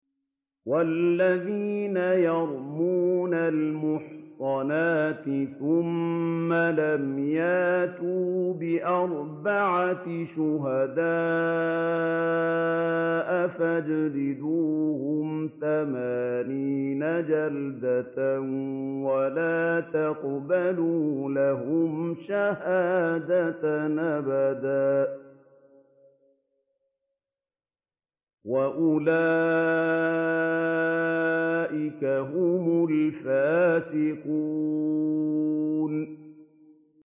وَالَّذِينَ يَرْمُونَ الْمُحْصَنَاتِ ثُمَّ لَمْ يَأْتُوا بِأَرْبَعَةِ شُهَدَاءَ فَاجْلِدُوهُمْ ثَمَانِينَ جَلْدَةً وَلَا تَقْبَلُوا لَهُمْ شَهَادَةً أَبَدًا ۚ وَأُولَٰئِكَ هُمُ الْفَاسِقُونَ